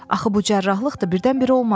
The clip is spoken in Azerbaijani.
Axı bu cərrahiyyəlik də birdən-birə olmaz.